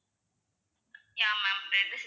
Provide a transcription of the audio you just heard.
yeah ma'am